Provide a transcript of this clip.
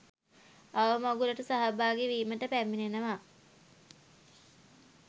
අවමගුලට සහභාගී වීමට පැමිණෙනවා